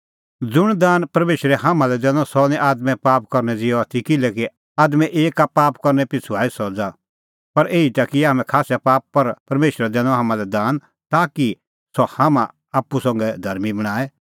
ज़ुंण दान परमेशरै हाम्हां लै दैनअ सह निं आदमे पाप करनै ज़िहअ आथी किल्हैकि आदमे एक पाप करनै पिछ़ू आई सज़ा पर एही ता किऐ हाम्हैं खास्सै पाप पर परमेशरै दैनअ हाम्हां लै दान ताकि सह हाम्हां आप्पू संघै धर्मीं बणांए